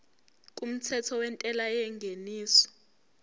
kumthetho wentela yengeniso